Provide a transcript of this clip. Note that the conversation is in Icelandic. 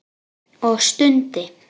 Og stundi.